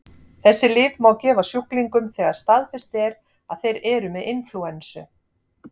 þessi lyf má gefa sjúklingum þegar staðfest er að þeir eru með inflúensu